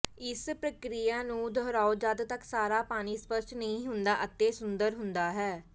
ਇਸ ਪ੍ਰਕ੍ਰਿਆ ਨੂੰ ਦੁਹਰਾਓ ਜਦੋਂ ਤੱਕ ਸਾਰਾ ਪਾਣੀ ਸਪੱਸ਼ਟ ਨਹੀਂ ਹੁੰਦਾ ਅਤੇ ਸੁਦੂਰ ਹੁੰਦਾ ਹੈ